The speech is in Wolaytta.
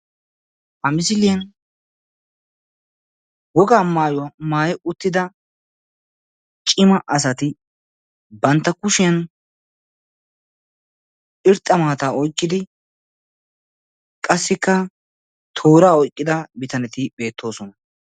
Ha misiliyan wogaa maayuwaa maayi uttida ciima asaati bantta kushshiyan irxxa maataa oyqqidi qassika tooraa oyqqida biitaneti betosona.